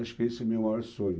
Acho que esse é o meu maior sonho.